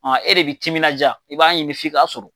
e de bi timinanja i b'a ɲini f'i k'a sɔrɔ.